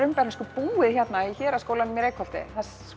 búið hérna í héraðsskólanum í Reykholti